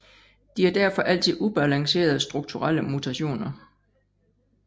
De er derfor altid ubalancerede strukturelle mutationer